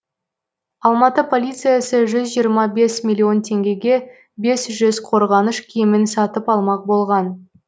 алматы полициясы жүз жиырма бес миллион теңгеге бес жүз қорғаныш киімін сатып алмақ болған